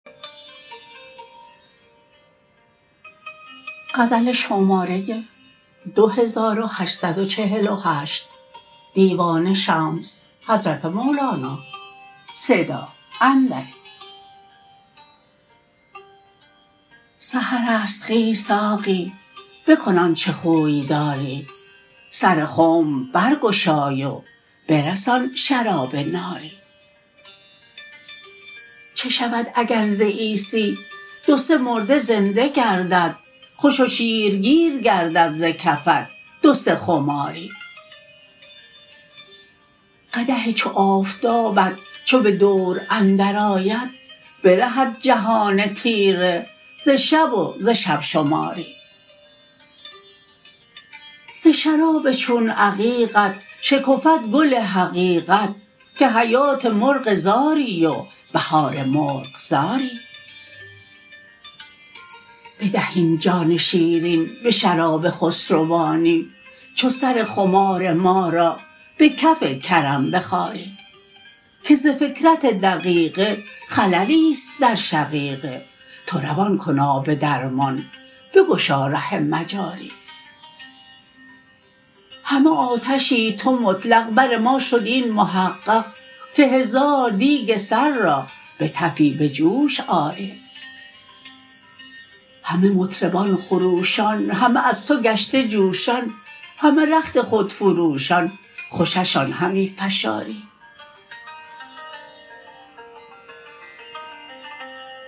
سحر است خیز ساقی بکن آنچ خوی داری سر خنب برگشای و برسان شراب ناری چه شود اگر ز عیسی دو سه مرده زنده گردد خوش و شیرگیر گردد ز کفت دو سه خماری قدح چو آفتابت چو به دور اندرآید برهد جهان تیره ز شب و ز شب شماری ز شراب چون عقیقت شکفد گل حقیقت که حیات مرغ زاری و بهار مرغزاری بدهیم جان شیرین به شراب خسروانی چو سر خمار ما را به کف کرم بخاری که ز فکرت دقیقه خللی است در شقیقه تو روان کن آب درمان بگشا ره مجاری همه آتشی تو مطلق بر ما شد این محقق که هزار دیگ سر را به تفی به جوش آری همه مطربان خروشان همه از تو گشته جوشان همه رخت خود فروشان خوششان همی فشاری